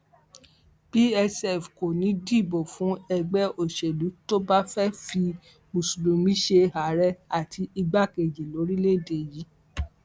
psf kò ní í dìbò fún ẹgbẹ òṣèlú tó bá fẹẹ fi mùsùlùmí ṣe ààrẹ àti igbákejì lórílẹèdè yìí